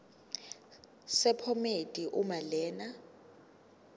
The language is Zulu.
sephomedi uma lena